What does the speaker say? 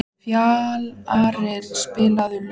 Fjalarr, spilaðu lag.